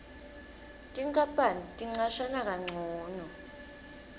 tinkapani ticashana kancono